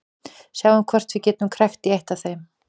Sjáum hvort við getum krækt í eitt af þeim.